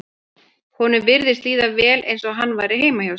Honum virtist líða vel eins og hann væri heima hjá sér.